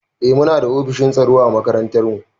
Eh muna da ofishin tsaro a makarantar mu.